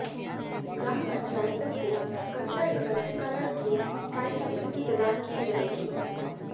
ग्राम पंचायतों को कचरा एकत्रीकरण की ट्रायसाइकिल भी प्रदान की जाएगी